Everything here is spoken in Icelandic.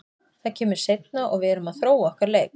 Það kemur seinna og við erum að þróa okkar leik.